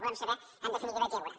volem saber en definitiva què hi haurà